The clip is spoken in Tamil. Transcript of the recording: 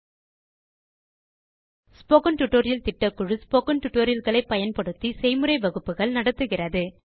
ஸ்போக்கன் டியூட்டோரியல் திட்டக்குழு ஸ்போக்கன் டியூட்டோரியல் களை பயன்படுத்தி செய்முறை வகுப்புகள் நடத்துகிறது